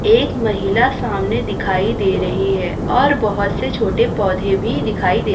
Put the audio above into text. एक महिला सामने दिखाई दे रही है और बहोत से छोटे पौधे भी दिखाई दे--